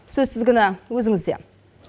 сөз тізгіні өзіңізде